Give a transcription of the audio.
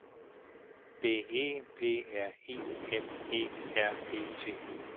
D E P R I M E R E T